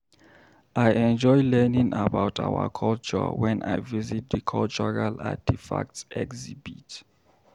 I enjoy learning about our culture when I visit the cultural artifacts exhibit.